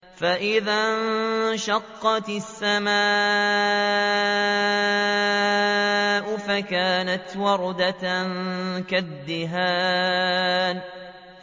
فَإِذَا انشَقَّتِ السَّمَاءُ فَكَانَتْ وَرْدَةً كَالدِّهَانِ